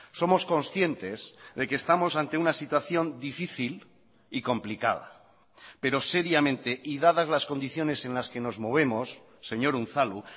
somos conscientes de que estamos ante una situación difícil y complicada pero seriamente y dadas las condiciones en las que nos movemos señor unzalu